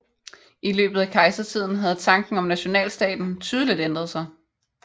I løbet af kejsertiden havde tanken om nationalstaten tydeligt ændret sig